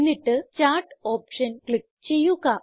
എന്നിട്ട് chart option click ചെയ്യുക